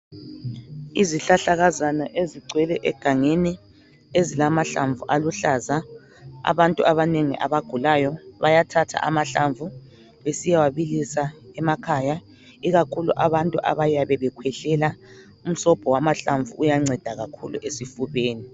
Izihlahlakazana ezigcwele egangeni ezilamahlamvu aluhlaza. Abantu abanengi abagulayo bayathatha amahlamvu besiyabilisa emakhaya ikakhulu abantu abayabe bekhwehlela umsobho uyanceda kakhulu esifubeni.